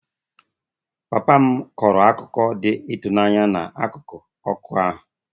Papa m kọrọ akụkọ dị ịtụnanya n'akụkụ ọkụ ahụ